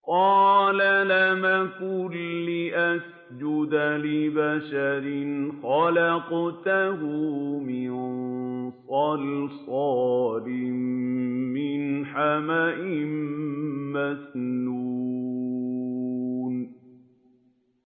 قَالَ لَمْ أَكُن لِّأَسْجُدَ لِبَشَرٍ خَلَقْتَهُ مِن صَلْصَالٍ مِّنْ حَمَإٍ مَّسْنُونٍ